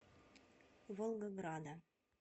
волгограда